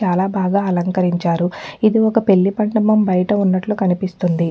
చాలాబాగా అలంకరించారుఇది ఒక్క పెళ్లి మండపం బయట ఉన్నట్లు కనిపిస్తుంది.